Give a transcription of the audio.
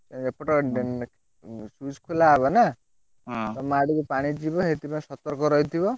ଏପଟ ଖୋଲାହବ ନା, ତମ ଆଡକୁ ପାଣି ଯିବ ସେଥିପାଇଁ ସତର୍କ ରହିଥିବ।